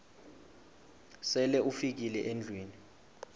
sele ufikile endlwini